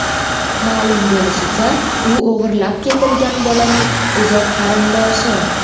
Ma’lum bo‘lishicha, u o‘g‘irlab ketilgan bolaning uzoq qarindoshi.